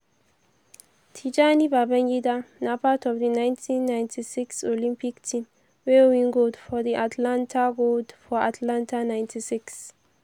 tijani babangida na part of di nineteen ninety six olympic team wey win gold for atlanta gold for atlanta ninety six.